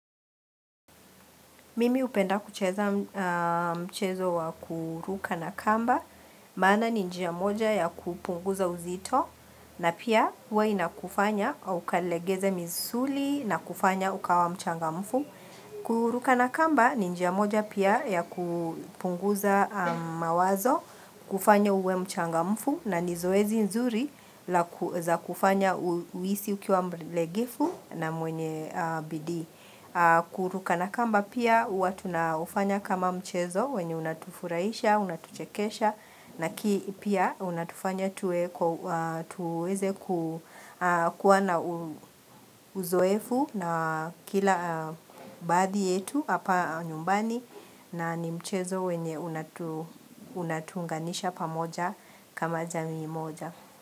Mimi upenda kucheza mchezo wa kuruka na kamba, maana ni njia moja ya kupunguza uzito na pia uwa inakufanya ukalegeza misuli na kufanya ukawa mchangamfu. Kuruka na kamba ni njia moja pia ya kupunguza mawazo, kufanya uwe mchangamfu na ni zoezi nzuri za kufanya uisi ukiwa mlegefu na mwenye bidii. Kuruka na kamba pia hua tunaufanya kama mchezo wenye unatufuraisha, unatuchekesha na ki pia unatufanya tuweze kuwa na uzoefu na kila baadhi yetu hapa nyumbani na ni mchezo wenye unatuunganisha pamoja kama jamiimoja.